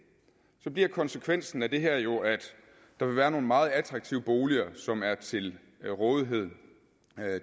bliver konsekvensen af det her jo at der vil være nogle meget attraktive boliger som er til rådighed